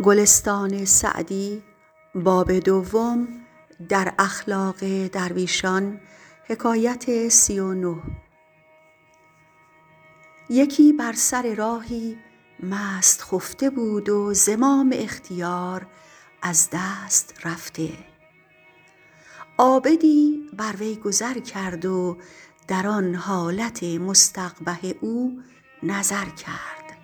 یکی بر سر راهی مست خفته بود و زمام اختیار از دست رفته عابدی بر وی گذر کرد و در آن حالت مستقبح او نظر کرد